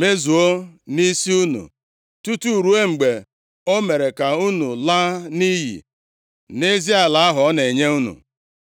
mezuo nʼisi unu, tutu ruo mgbe o mere ka unu laa nʼiyi nʼezi ala ahụ ọ na-enye unu.